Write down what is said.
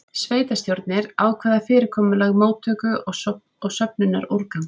Sveitarstjórnir ákveða fyrirkomulag móttöku og söfnunar úrgangs.